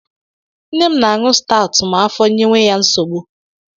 Nne m na-aṅu stawụt ma afọ nyewe ya nsogbu.